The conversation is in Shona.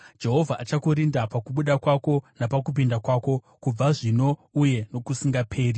Jehovha achakurinda pakubuda kwako napakupinda kwako, kubva zvino uye nokusingaperi.